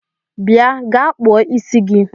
Bịa gaa kpụọ ịsị gi!